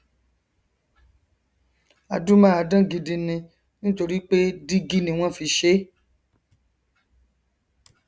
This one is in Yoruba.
adúmáadán gidi ni nítorí pé dígí ni wọn fi ṣe